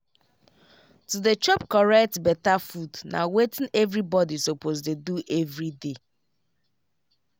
to dey chop correct beta food na wetin everybody suppose dey do everyday.